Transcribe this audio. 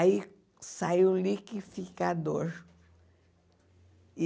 Aí saiu o liquificador.